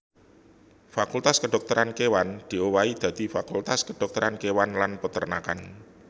Fakultas Kedhokteran Kéwan diowahi dadi Fakultas Kedhokteran Kéwan lan Peternakan